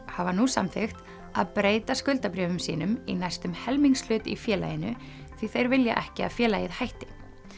hafa nú samþykkt að breyta skuldabréfum sínum í næstum helmingshlut í félaginu því þeir vilja ekki að félagið hætti